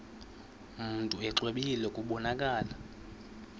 mntu exwebile kubonakala